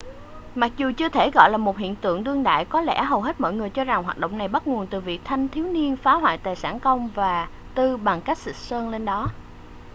mặc dù chưa thể gọi là một hiện tượng đương đại có lẽ hầu hết mọi người cho rằng hoạt động này bắt nguồn từ việc thanh thiếu niên phá hoại tài sản công và tư bằng cách xịt sơn lên đó